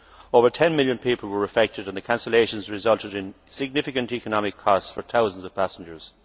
Over 10 million people were affected and the cancellations resulted in significant economic costs for thousands of passengers.